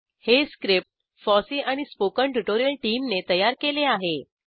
हे script FOSSEE and spoken tutorial टीमने तयार केले आहे